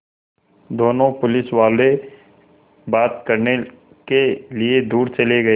दोनों पुलिसवाले बात करने के लिए दूर चले गए